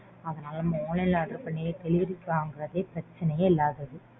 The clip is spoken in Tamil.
அதனால online ல order பண்ணியே delivery வாங்கறது பிரச்சனையே இல்லாதது.